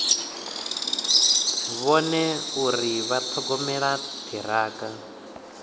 vhone uri vha ṱhogomela ṱhirakha